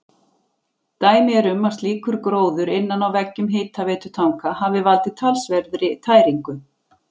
Dæmi er um að slíkur gróður innan á veggjum hitaveitutanka hafi valdið talsverðri tæringu.